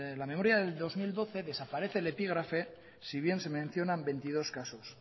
la memoria del dos mil doce desaparece el epígrafe si bien se mencionan veintidós casos